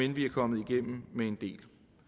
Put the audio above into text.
det